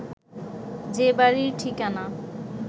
যে বাড়ির ঠিকানা